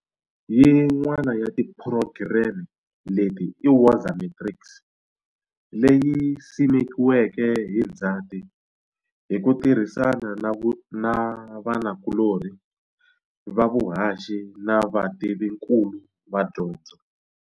Yin'wana ya tiphurogireme leti i Woza Matrics, leyi simekiweke hi Ndzhati hi ku tirhisana na vanakulorhi va vuhaxi na vativinkulu va dyondzo.